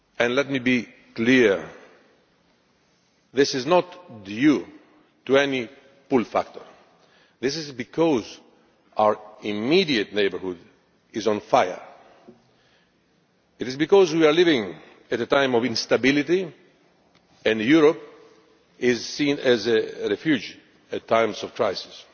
Let me be clear this is not due to any pull factor'. This is because our immediate neighbourhood is on fire. It is because we are living in a time of instability and Europe is seen as a refuge in times of crisis.